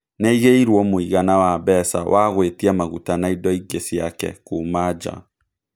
Nĩyaigeiruo mũigana wa mbeca wa gũĩtia maguta na indo ingĩ ciake kuuma nja